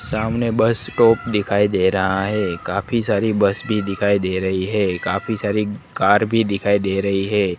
सामने bus stop दिखाई दे रहा है काफी सारी बस भी दिखाई दे रही है काफी सारी कार भी दिखाई दे रही है।